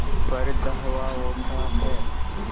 पर धावा होता है